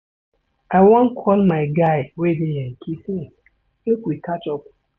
I wan call my guy wey dey yankee since make we catch up.